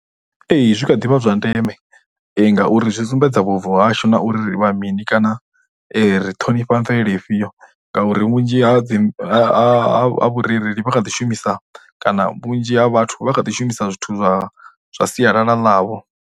Ee, zwi kha ḓivha zwa ndeme ngauri zwi sumbedza vhubvo hashu na uri vha mini kana ri ṱhonifha mvelele ifhio ngauri vhunzhi ha dzi, ha vhurereli vha kha ḓi shumisa kana vhunzhi ha vhathu vha kha ḓishumisa zwithu zwa zwa sialala ḽavho.